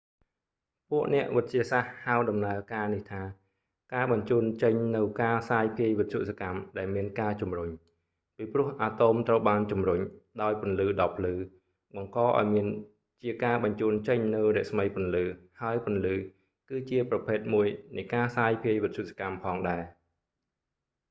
ពួកអ្នកវិទ្យាសាស្ត្រហៅដំណើរការនេះថា «ការបញ្ជូនចេញនូវ​ការសាយ​ភាយ​វិទ្យុសកម្ម ដែល​មាន​ការជំរុញ» ពីព្រោះ​អាតូម​ត្រូវបានជំរុញ ដោយពន្លឺដ៏ភ្លឺ បង្ក​ឱ្យ​មាន​ជាការ​បញ្ជូន​ចេញ​នូវរស្មីពន្លឺ ហើយពន្លឺ គឺជាប្រភេទមួយនៃ​ការសាយភាយ​វិទ្យុសកម្ម​ផង​ដែរ។